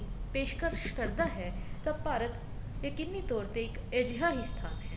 ਪੇਸ਼ਕਸ਼ ਕਰਦਾ ਹੈ ਤਾਂ ਭਾਰਤ ਯਕੀਨੀ ਤੋਰ ਤੇ ਇੱਕ ਅਜਿਹਾ ਹੀ ਸਥਾਨ ਹੈ